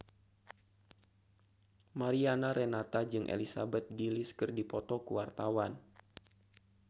Mariana Renata jeung Elizabeth Gillies keur dipoto ku wartawan